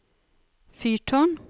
fyrtårn